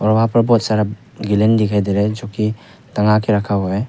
और वहां पर बहोत सारा गैलन दिखाई दे रहा है जोकि टांगा के रखा हुआ है।